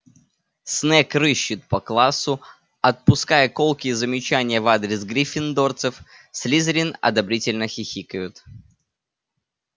снегг рыщет по классу отпуская колкие замечания в адрес гриффиндорцев слизерин одобрительно хихикают